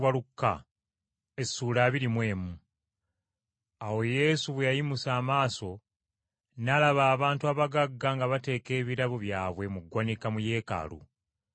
Awo Yesu bwe yayimusa amaaso n’alaba abantu abagagga nga bateeka ebirabo byabwe mu ggwanika mu Yeekaalu.